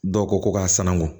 Dɔw ko ko ka sanangon